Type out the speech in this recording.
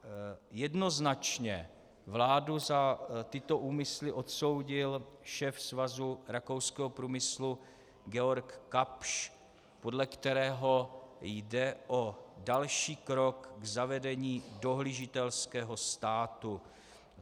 Jednoznačně vládu za tyto úmysly odsoudil šéf Svazu rakouského průmyslu Georg Kapsch, podle kterého jde o další krok k zavedení dohlížitelského státu.